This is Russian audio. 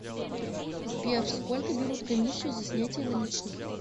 сбер сколько берут комиссию за снятие наличных